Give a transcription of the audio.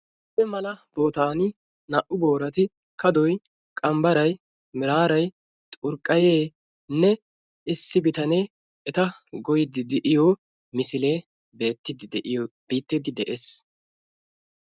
issi mala bootaani kaadoy qanbbaray miraaray xurqqayeenne issi bitanee eta goyyiidi de'iyoo misilee beettiidi de'iyoo beettiidi de'ees.